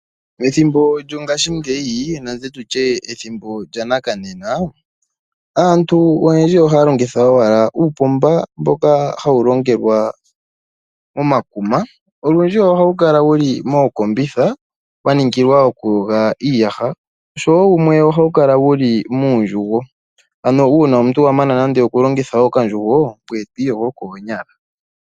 Methimbo lyongaashingeyi nenge tutye ethimbo lyanakanena, aantu oyendji ohaya longitha owala uupomba mboka hawu longelwa momakuma. Olundji ohawu kala wuli mookombitha, wa ningilwa oku yoga iiyaha, oshowo wumwe ohawu kala wuli muundjugo. Ano uuna omuntu a mana nande oku longitha okandjugo ngoye to iyogo koonyala.